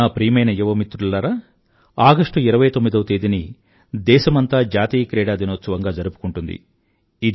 నా ప్రియమైన యువమిత్రులారా ఆగస్టు 29వ తేదీని దేశమంతా జాతీయ క్రీడా దినోత్సవంగా జరుపుకుంటుంది